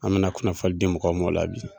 An be na kunnafoni di mɔgɔw ma o la bi